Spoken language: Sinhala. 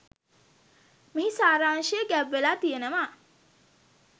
මේහි සාරාංශය ගැබ්වෙලා තියෙනවා.